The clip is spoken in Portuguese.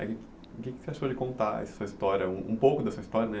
O que você achou de contar a sua história, um pouco da sua história?